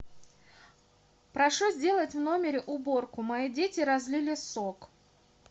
прошу сделать в номере уборку мои дети разлили сок